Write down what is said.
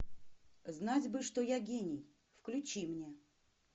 знать бы что я гений включи мне